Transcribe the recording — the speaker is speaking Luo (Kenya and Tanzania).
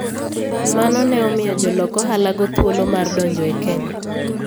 Mano ne omiyo jolok ohalago thuolo mar donjo e Kenya.